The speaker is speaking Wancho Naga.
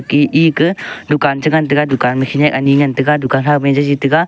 ga eke dukan chI ngan tega dukan ma khenek anI ngan tega dukan kha ma a jijI taiga.